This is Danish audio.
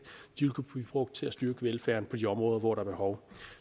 vil kunne blive brugt til at styrke velfærden på de områder hvor der er behov